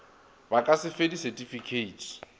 ba ka se fe disetifikeiti